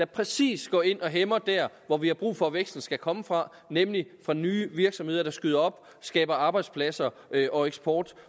præcision går ind og hæmmer der hvor vi har brug for at væksten skal komme fra nemlig fra nye virksomheder der skyder op skaber arbejdspladser og eksport